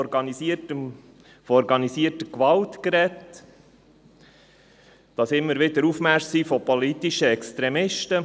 Es ist von organisierter Gewalt die Rede und von wiederkehrenden Aufmärschen politischer Extremisten.